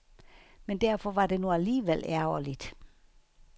Men derfor var det nu alligevel ærgerligt.